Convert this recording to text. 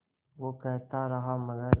वो कहता रहा मगर